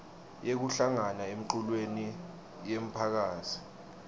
yekuhlangana emculweni yemphakasi